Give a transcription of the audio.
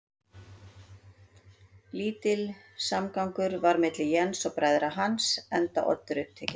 Lítill samgangur var milli Jens og bræðra hans, enda Oddur upptekinn